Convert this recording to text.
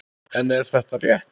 En er þetta rétt?